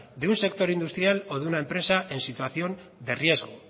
de un sector industrial o de una empresa